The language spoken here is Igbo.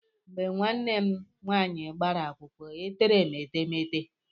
Mgbe nwaane m nwaanyị gbara akwụkwọ, e tere m etemete.